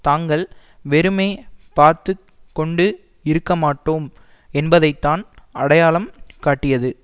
தாங்கள் வெறுமே பார்த்து கொண்டு இருக்க மாட்டோம் என்பதை தான் அடையாளம் காட்டியது